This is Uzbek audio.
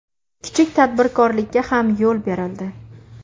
Kichik tadbirkorlikka ham yo‘l berildi”.